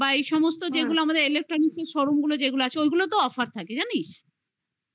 সমস্ত যেগুলো আমাদের electronics এর showroom গুলো যেগুলো আছে